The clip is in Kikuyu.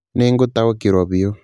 Nĩ ngũtaũkĩrũo biũ.